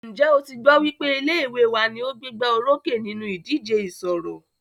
Ǹjẹ́ o tí gbọ́ wípé ilé ìwé wa ní o gbégbá orókè nínú ìdíje ìṣọ̀rọ̀?